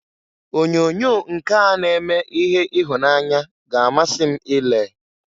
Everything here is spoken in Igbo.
Onyoonyo nke a na-eme ihe ịhụnanya ga-amasị m i lee.